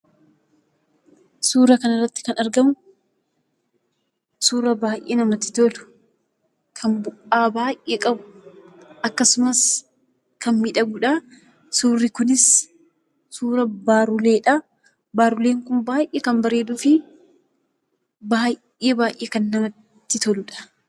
Suuraa kanarratti kan argamu suuraa baay'ee namatti tolu, kan bu'aa baay'ee qabu, kan miidhagudha. Kunis suuraa barulleedha. Barulleen kun baay'ee kan bareeduu fi baay'ee baay'ee kan namatti toludha.